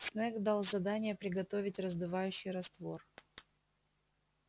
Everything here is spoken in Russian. снегг дал задание приготовить раздувающий раствор